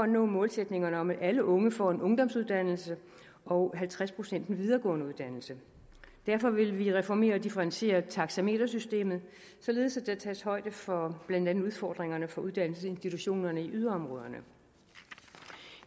nå målsætningerne om at alle unge får en ungdomsuddannelse og halvtreds procent en videregående uddannelse derfor vil vi reformere og differentiere taxametersystemet således at der tages højde for blandt andet udfordringerne for uddannelsesinstitutionerne i yderområderne